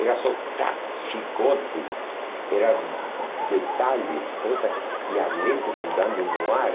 Era só chicotes, era detalhes, coisas, e a lente mudando no ar.